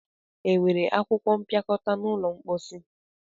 Enwere akwụkwọ mpịakọta n'ụlọ mposi?